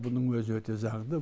бұның өзі өте заңды